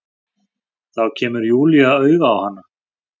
Þá kemur Júlía auga á hana.